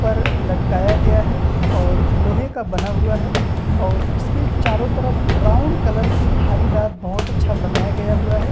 पर लटकाया गया है और लोहे का बना हुआ है और इसके चारों तरफ ब्राउन कलर की धारीदार बहुत अच्छा बनाया गया हुआ है।